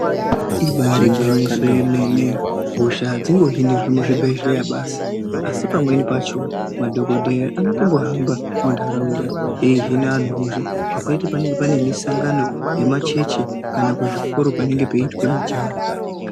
Ibari gwinyiso remene hosha adzingohinirwi muzvibhedhlera basi asi pamweni pacho madhokodheya anohamba mundaraunda ehina anhu hosha zvakaita panenge pane musangano yemachechi kana kuzvikora panenge peitwa mujaho.